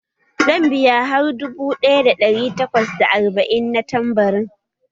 Zan biya har dubu ɗaya da ɗari takwas da arba'in na tambarin?